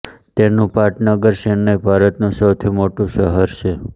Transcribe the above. તેનું પાટનગર ચેન્નઈ ભારતનું ચોથું સૌથી મોટું શહેર છે